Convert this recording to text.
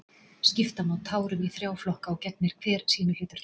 Skipta má tárum í þrjá flokka og gegnir hver sínu hlutverki.